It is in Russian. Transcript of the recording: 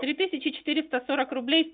три тысячи четыреста сорок рублей